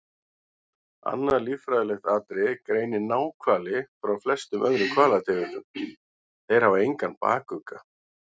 Annað líffræðilegt atriði greinir náhvali frá flestum öðrum hvalategundum- þeir hafa engan bakugga.